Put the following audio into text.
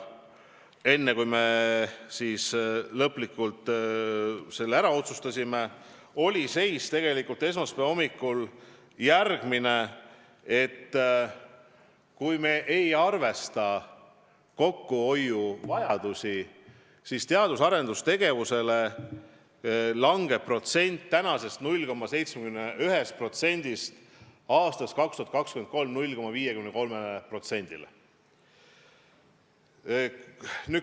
Enne, kui me selle lõplikult ära otsustasime, oli seisukoht esmaspäeva hommikul järgmine: kui me ei arvesta kokkuhoiuvajadusi, siis langeb teadus- ja arendustegevusele minev protsent SKT-st praeguselt 0,71%-lt 2023. aastaks 0,53%-le.